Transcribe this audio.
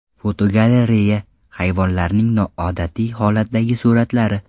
Fotogalereya: Hayvonlarning noodatiy holatdagi suratlari .